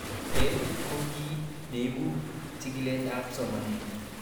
TEL ko kiy neipu chikilet ab somanet